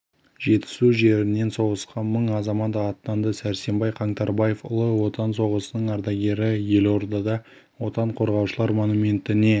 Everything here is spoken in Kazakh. жетісу жерінен соғысқа мың азамат аттанды сәрсенбай қаңтарбаев ұлы отан соғысының ардагері елордада отан қорғаушылар монументіне